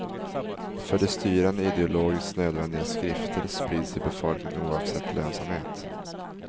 För de styrande ideologiskt nödvändiga skrifter sprids till befolkningen oavsett lönsamhet.